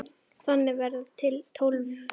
Þannig verða til Tólfur.